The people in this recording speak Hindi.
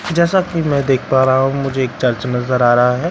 जैसा की मैं देख पा रहा हूँ मुझे एक चर्च नजर आ रहा हैं।